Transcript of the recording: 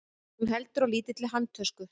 Hún heldur á lítilli handtösku.